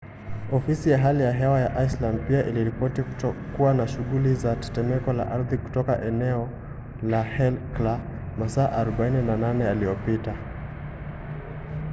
ofisi ya hali ya hewa ya iceland pia iliripoti kutokuwa na shughuli za tetemeko la ardhi katika eneo la hekla masaa 48 yaliyopita